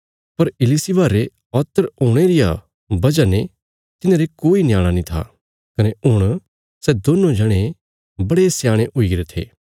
पर इलिशिबा रे औत्र हुणे रिया वजह ने तिन्हारे कोई न्याणा नीं था कने हुण सै दोन्नों जणे बड़े स्याणे हुईगरे थे